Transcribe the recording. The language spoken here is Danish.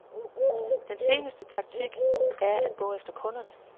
Den seneste taktik er at gå efter kunderne.